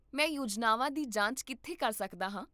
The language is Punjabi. ਮੈਂ ਯੋਜਨਾਵਾਂ ਦੀ ਜਾਂਚ ਕਿੱਥੇ ਕਰ ਸਕਦਾ ਹਾਂ?